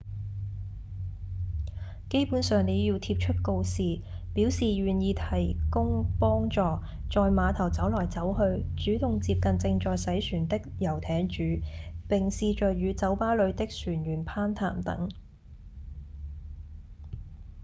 基本上您要貼出告示表示願意提供幫助、在碼頭走來走去、主動接近正在洗船的遊艇主並試著與酒吧裡的船員攀談等